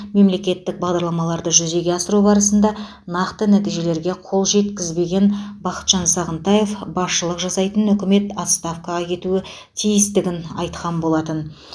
мемлекеттік бағдарламаларды жүзеге асыру барысында нақты нәтижелерге қол жеткізбеген бақытжан сағынтаев басшылық жасайтын үкімет отставкаға кетуі тиістігін айтқан болатын